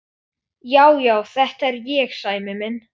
Já, já, þetta er ég, Sæmi minn.